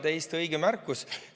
Täiesti õige märkus.